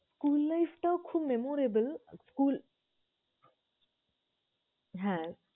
School life টাও খুব memorable school হ্যাঁ।